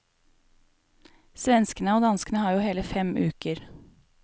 Svenskene og danskene har jo hele fem uker.